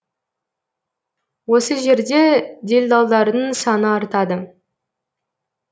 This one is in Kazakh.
осы жерде делдалдардың саны артады